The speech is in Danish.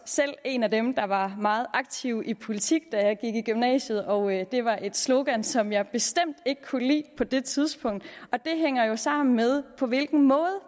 selv er en af dem der var meget aktiv i politik da jeg gik i gymnasiet og det var et slogan som jeg bestemt ikke kunne lide på det tidspunkt det hænger jo sammen med på hvilken måde